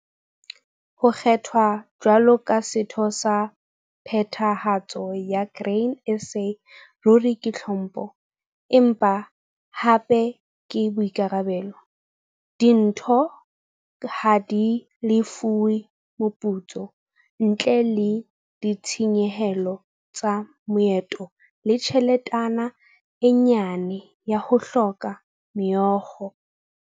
Ho kgethwa jwalo ka setho sa Phethahatso sa Grain SA ruri ke tlhompho, empa hape ke boikarabelo. Ditho ha di lefuwe moputso, ntle le ditshenyehelo tsa maeto le tjheletana e nyane ya ho hlakola meokgo.